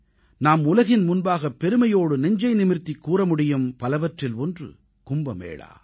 நாம் உலகின் முன்பாக பெருமையோடு நெஞ்சை நிமிர்த்திக் கூற முடியும் பலவற்றில் ஒன்று கும்ப மேளா